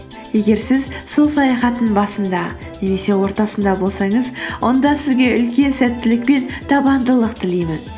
егер сіз сол саяхаттың басында немесе ортасында болсаңыз онда сізге үлкен сәттілік пен табандылық тілеймін